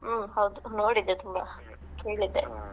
ಹಾ ಹೌದು ನೋಡಿದ್ದೇ ತುಂಬಾ ಕೇಳಿದ್ದೆ .